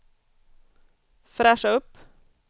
fräscha upp